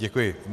Děkuji.